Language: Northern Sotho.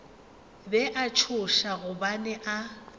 be a tšhoša gobane a